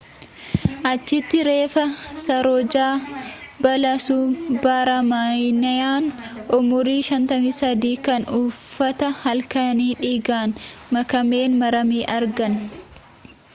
achitti reeffa saroojaa balasubramaniyaan umurii 53 kan uffata halkanii dhiigaan makameen marame argan